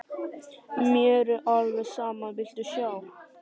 Mér er alveg sama, viltu sjá?